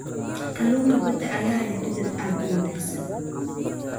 Kalluunka badda ayaa leh dhadhan aad u wanaagsan.